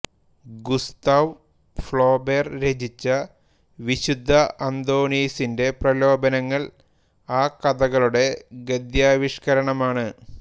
Gustave Flaubert രചിച്ച വിശുദ്ധ അന്തോനീസിന്റെ പ്രലോഭനങ്ങൾ ആ കഥകളുടെ ഗദ്യാവിഷ്കരണമാണ്